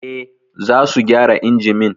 Eh, za su gyara injimin